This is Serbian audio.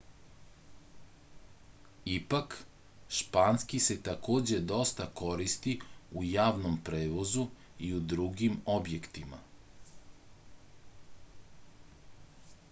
ipak španski se takođe dosta koristi u javnom prevozu i u drugim objektima